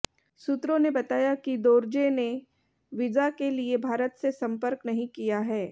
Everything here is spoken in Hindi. सूत्रों ने बताया कि दोरजे ने वीजा के लिए भारत से संपर्क नहीं किया है